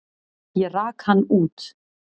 Ég rak hann út.